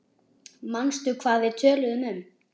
Manstu hvað við töluðum um?